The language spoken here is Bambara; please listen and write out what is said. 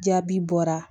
Jaabi bɔra